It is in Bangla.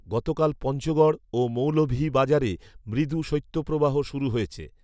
গতকাল পঞ্চগড় ও মৌলভীবাজারে মৃদু শৈত্যপ্রবাহ শুরু হয়েছে